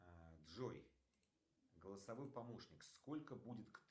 джой голосовой помощник сколько будет